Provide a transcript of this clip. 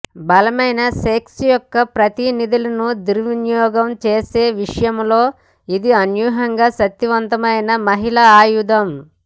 బలమైన సెక్స్ యొక్క ప్రతినిధులను దుర్వినియోగం చేసే విషయంలో ఇది అనూహ్యంగా శక్తివంతమైన మహిళా ఆయుధం